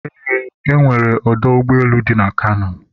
eee, e nwere ọdọ ụgbọelu dị na Kano